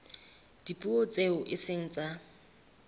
dipuo tseo e seng tsa